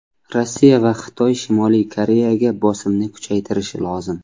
Rossiya va Xitoy Shimoliy Koreyaga bosimni kuchaytirishi lozim.